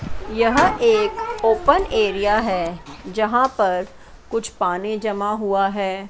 यह एक open area है जहां पर कुछ पानी जमा हुआ है।